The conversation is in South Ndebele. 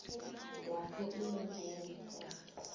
lapho inarha yangeqadi